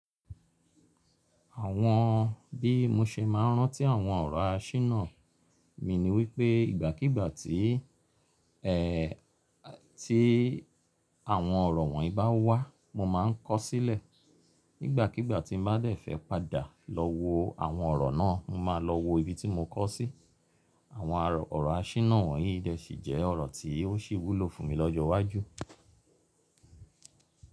Àwọn bí mo ṣe máa ń rántí àwọn ọ̀rọ̀ áṣínà mi ni wípé ìgbàkígbà tí, tí àwọn ọ̀rọ̀ wọ̀nyí bá wá mo máa ń kọ sílẹ̀. Nígbàkígbà tí n bá dẹ̀ fẹ́ padà lọ wo awọn ọ̀rọ̀ náà, mo máa lọ wo ibi tí mo kọ sí. Àwọn ọ̀rọ̀ áṣínà wọ̀nyí sì jẹ́ ọ̀rọ̀ tí ó sì wúlò fún mi lọ́jọ́ iwájú.